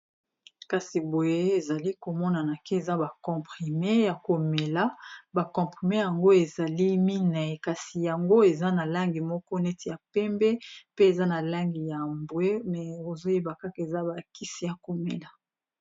Kasi boye ezali komonana eza ba comprime ya komela, ba comprime yango ezali minei kasi yango eza na langi moko neti ya pembe, pe eza na langi ya mbwe eza bakisi ya komela.